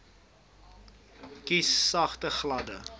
kies sagte gladde